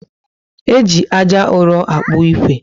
Eji ájá uro akpu ikwe